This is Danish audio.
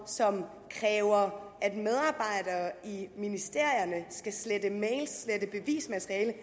som kræver at medarbejdere i ministerierne skal slette mails slette bevismateriale